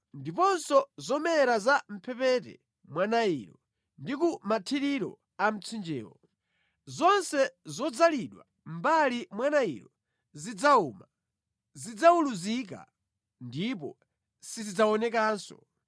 ndiponso zomera za mʼmphepete mwa Nailo ndi ku mathiriro a mtsinjewo. Zonse zodzalidwa mʼmbali mwa Nailo zidzawuma, zidzawuluzika ndipo sizidzaonekanso.